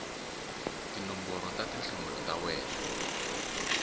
tinomboro ta tinhlamulo ta wena